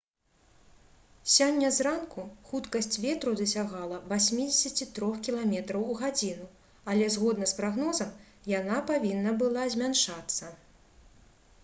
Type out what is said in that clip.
сёння зранку хуткасць ветру дасягала 83 км у гадзіну але згодна з прагнозам яна павінна была змяншацца